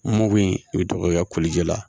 Mugu in i bɛ tɔgɔya kolijɛ la